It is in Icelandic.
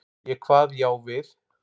Ég kvað já við.